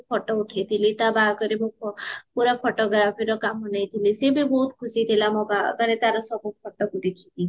photo ଉଠେଇଥିଲି ତ ବାହାଘରରେ ମୁଁ ପୁରା photographyର କମ ନେଇଥିଲି ସିଏ ବି ବହୁତ ଖୁସିଥିଲା ମୋ ବାହାଘରରେ ତାର ସବୁ photoକୁ ଦେଖିକି